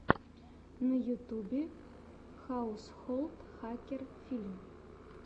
на ютьюбе хаусхолд хакер фильм